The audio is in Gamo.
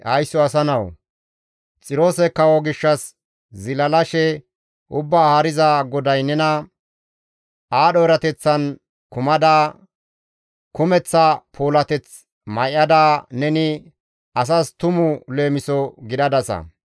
«Haysso asa nawu! Xiroose kawo gishshas zilalashe Ubbaa Haariza GODAY nena, « ‹Aadho erateththan kumada, kumeththa puulateth may7ada neni asas tumu leemiso gidadasa.